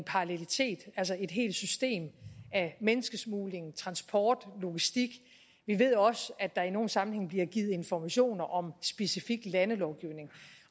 helt system af menneskesmugling transport og logistik vi ved også at der i nogle sammenhænge bliver givet informationer om specifik landelovgivning